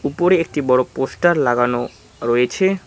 উপরে একটি বড় পোস্টার লাগানো রয়েছে।